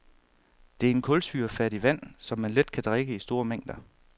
Det er en kulsyrefattig vand, som man let kan drikke i store mængder.